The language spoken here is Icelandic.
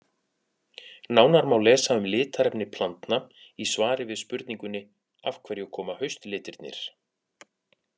Nánar má lesa um litarefni plantna í svari við spurningunni Af hverju koma haustlitirnir?